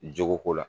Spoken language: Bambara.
Jogo ko la